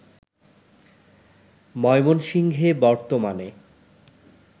ময়মনসিংহে বর্তমানে